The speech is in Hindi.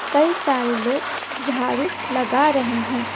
कई सारे लोग झाड़ू लगा रहे हैं।